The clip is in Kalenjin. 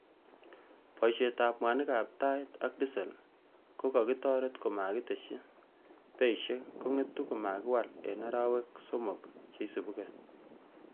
Boisietab mwanikab tait ak disel ko kokitorer komokitesyi beisiek kong'etu komakiwal en arawek somok cheisibu gee.